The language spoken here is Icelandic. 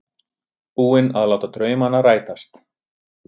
Búinn að láta draumana rætast.